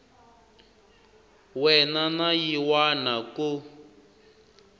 wana na yin wana ku